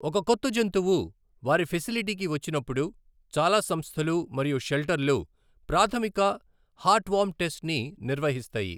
ఒక కొత్త జంతువు వారి ఫెసిలిటీకి వచ్చినప్పుడు చాలా సంస్థలు మరియు షెల్టర్లు ప్రాథమిక హార్ట్వార్మ్ టెస్ట్ని నిర్వహిస్తాయి.